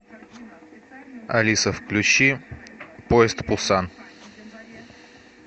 алиса включи поезд в пусан